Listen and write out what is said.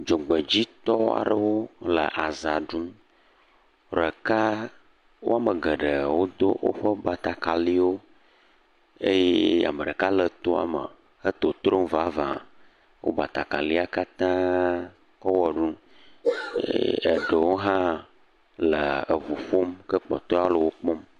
Dzogbedzitɔ aɖewo le azã ɖum ɖeka wo ame geɖee wodo woƒe batakariwo eye ame aɖeka le toame le totrom vava, wo batakalia katã kɔ wɔ ɖum eɖewo hã le eŋu ƒom ke kpɔtɔewo le wo kpɔm.